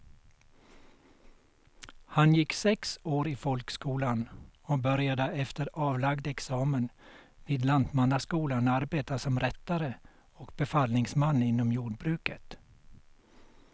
Han gick sex år i folkskolan och började efter avlagd examen vid lantmannaskolan arbeta som rättare och befallningsman inom jordbruket.